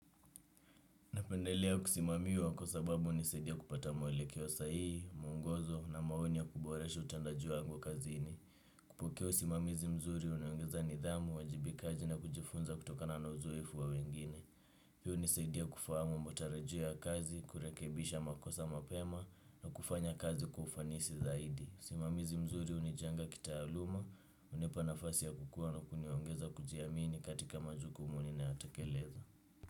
Napendelea kusimamiwa kwa sababu hunisaidia kupata mwele keosahihi, mwongozo na maoni ya kuboresha utendaji wangu kazi ini. Kupokea usimamizi mzuri unaongeza nidhamu, uwajibikaji na kujifunza kutokana na uzoefu wa wengine. Hii hunisaidia kufahamu matarajio ya kazi, kurekebisha makosa mapema na kufanya kazi kwaufanisi zaidi. Usimamizi mzuri hunijenga kita aluma, hunipa nafasi ya kukua na kuniongeza kujiamini katika majuku muni na yotekeleza.